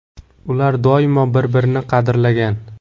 Ular doimo bir-birini qadrlagan.